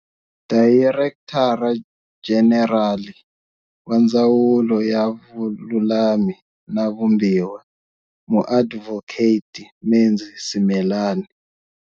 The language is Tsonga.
Dayirektara Jenerali wa Ndzawulo ya Vululami na Vumbiwa, Muadvhoketi Menzi Simelane.